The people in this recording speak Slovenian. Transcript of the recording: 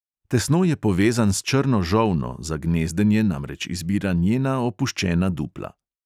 Tesno je povezan s črno žolno, za gnezdenje namreč izbira njena opuščena dupla.